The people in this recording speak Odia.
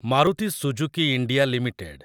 Maruti Suzuki India limited